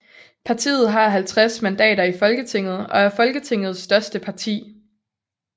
Partiet har 50 mandater i Folketinget og er Folketingets største parti